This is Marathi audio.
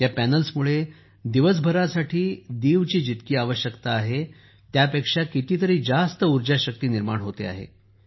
या पॅनेल्समुळे दिवसभरासाठी दीव ची जितकी आवश्यकता आहे त्यापेक्षा कितीतरी जास्त ऊर्जाशक्ती निर्माण होते आहे